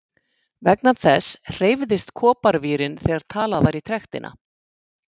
Vegna þess hreyfðist koparvírinn þegar talað var í trektina.